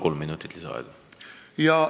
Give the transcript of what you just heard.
Kolm minutit lisaaega.